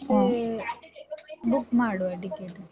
ಮತ್ತೆ book ಮಾಡುವ ticket.